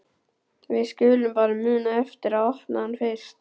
Við skulum bara muna eftir að opna hann fyrst!